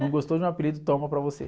Não gostou de um apelido, toma para você.